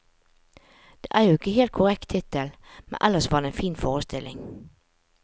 Det var jo ikke helt korrekt tittel, men ellers var det en fin forestilling.